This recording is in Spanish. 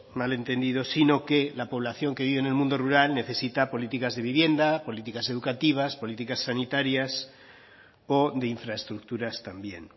mal entendido sino que la población que vive en el mundo rural necesita políticas de vivienda políticas educativas políticas sanitarias o de infraestructuras también